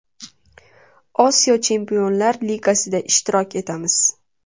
Osiyo Chempionlar Ligasida ishtirok etamiz.